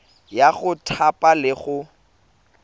ya go thapa le go